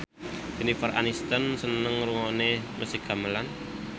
Jennifer Aniston seneng ngrungokne musik gamelan